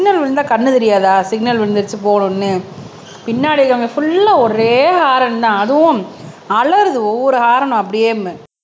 signal விழுந்தா கண்ணு தெரியாதா சிக்னல் விழுந்திருச்சு போகணும்னு பின்னாடி இருக்கறவங்க புல்லா ஒரே ஹாரன் தான் அதுவும் அலறுது ஒவ்வொரு ஹாரனும் அப்படியே